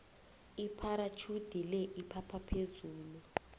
ipharatjhudi le iphapha phezulu